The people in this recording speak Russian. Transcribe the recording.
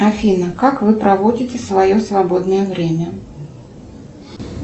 афина как вы проводите свое свободное время